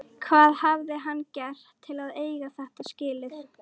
Hvað hafði hann gert til að eiga þetta skilið?